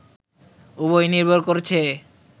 উভয়ই নির্ভর করছে